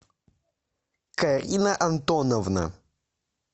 карина антоновна